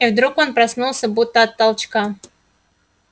и вдруг он проснулся будто от толчка